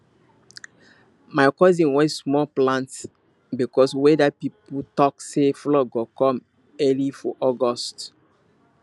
my cousin wait small plant because weather people talk say flood go come early for august